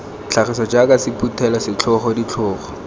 tlhagiso jaaka sephuthelo setlhogo ditlhogo